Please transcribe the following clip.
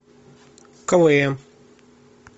квн